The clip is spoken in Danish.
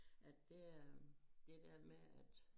At det er det dér med at